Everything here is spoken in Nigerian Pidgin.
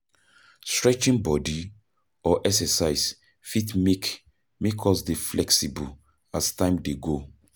stretching bodi or exercise fit make make us dey flexible as time dey go